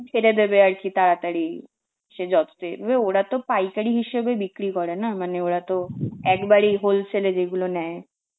ছেড়ে দেবে আর কি তাড়াতাড়ি, সে যততে দেবে, ওরা তো পাইকারি হিসেবে বিক্রি করে না, মানে ওরা তো একবারেই whole sale এ যেগুলো নেয়.